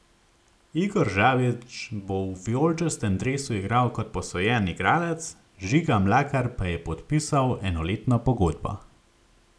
Igor Žabič bo v vijoličastem dresu igral kot posojen igralec, Žiga Mlakar pa je podpisal enoletno pogodbo.